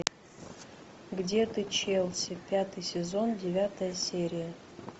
где ты челси пятый сезон девятая серия